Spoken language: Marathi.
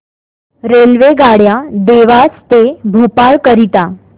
रेल्वेगाड्या देवास ते भोपाळ करीता